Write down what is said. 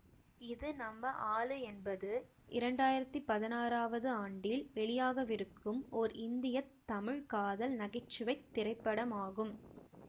இது நம்ம ஆளு என்பது இரண்டு ஆயிரத்தி பதினாறவது ஆண்டில் வெளியாகவிருக்கும் ஓர் இந்திய தமிழ் காதல் நகை சுவை திரைப்படமாகும்